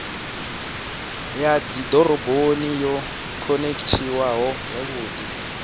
ya dzidoroboni yo khonekhithiwaho zwavhudi